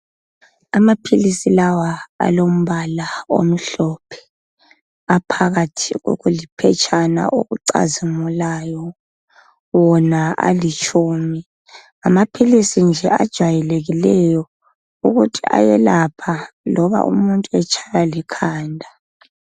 Amapilisi lawa alombala omhlophe. Aphakathi khokuliphershana okucazimulayo. Wona alitshumi. Ngamapilisi nje ajwayekileyo ukuthi iyelapha noma umuntu atshayiwa likanda.